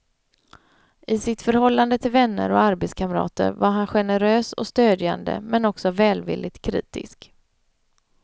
I sitt förhållande till vänner och arbetskamrater var han generös och stödjande men också välvilligt kritisk.